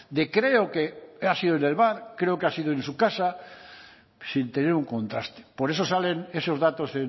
de creo que ha sido en el bar creo que ha sido en su casa sin tener un contraste por eso salen esos datos